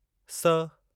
स